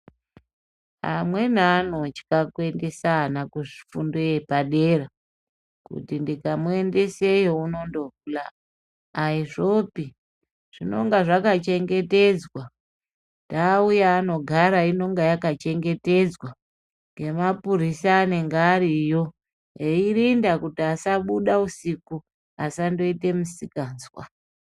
Amweni anotya kuendesa ana kufundo yepadera kuti ndikamuendese iyo unondohula aizvopi zvinonga zvakachengetedzwa ndau yaanogara inonga yakachengetedzwa ngemapurisa anenge ariyo eirinda kuti asabuda usiku asandoite misikazwa.